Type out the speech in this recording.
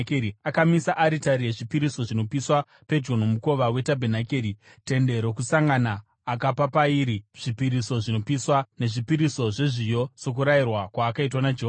Akamisa aritari yezvipiriso zvinopiswa pedyo nomukova wetabhenakeri, Tende Rokusangana, akapa pairi zvipiriso zvinopiswa nezvipiriso zvezviyo, sokurayirwa kwaakaitwa naJehovha.